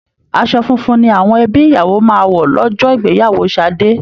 Àsọ funfun ni àwọn ẹbí ìyàwó máa wọ lọ́jọ́ ìgbéyàwó Ṣadé